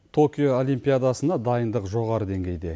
токио олимпиадасына дайындық жоғары деңгейде